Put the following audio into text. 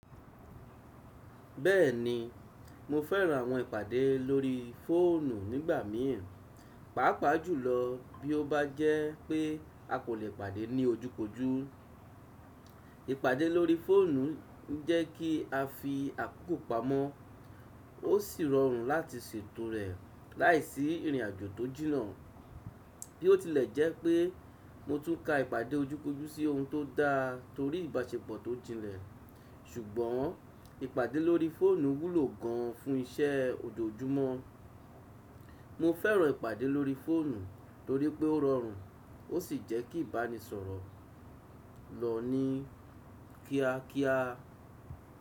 Bẹ́ẹ̀ni, mo fẹ́ran àwọn ìpàdé lórí fóònù nígbà míràn, pàápàá jùlọ bí ó bá jẹ́ pé a kò lè pàdé ní ojú kojú. Ìpàdé lórí fóònù ń jẹ́ kí a fi àkókò pamọ́. Ó sì rọrùn láti ṣètò rẹ̀ láìsí ìrìnàjò tó jìnnà. Bí ó tilẹ̀ jẹ́ pé mo tún ka ìpàdé ojú kojú sí ohun tó dá torí ìbáṣepọ̀ tó jinnlẹ̀, ṣùgbọ́n ìpàdé lórí fóònù wúlò gan fún iṣẹ́ ojoojúmọ́. Mo fẹ́ràn ìpàdé lórí fóònù torí pé ó rọrùn ó sì jẹ́ kí ìbánisọ̀rọ̀ lọ ní kíákíá.